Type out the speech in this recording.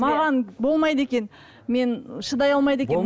маған болмайды екен мен шыдай алмайды екенмін